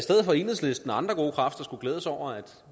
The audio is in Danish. enhedslisten og andre gode kræfter skulle glæde sig over at